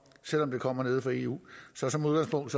selv om det kommer nede fra eu så som udgangspunkt